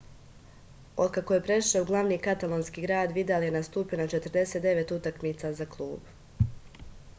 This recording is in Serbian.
od kako je prešao u glavni katalonski grad vidal je nastupio na 49 utakmica za klub